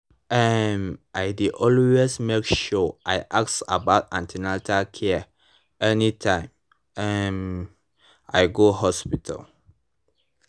um i dey always make sure i ask about an ten atal care anytime um i go hospital